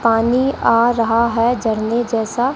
पानी आ रहा है झरने जैसा।